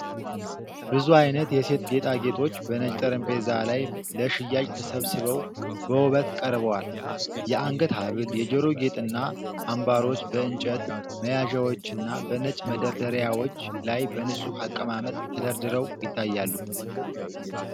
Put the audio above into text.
ብዙ አይነት የሴቶች ጌጣጌጦች በነጭ ጠረጴዛ ላይ ለሽያጭ ተሰብስበው በውበት ቀርበዋል። የአንገት ሐብል፣ የጆሮ ጌጥና አምባሮች በእንጨት መያዣዎችና በነጭ መደርደሪያዎች ላይ በንጹህ አቀማመጥ ተደርድረው ይታያሉ።